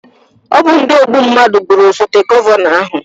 Ọ bụ ndi ogbu mnadụ gbụrụ osote gọvanọ ahụ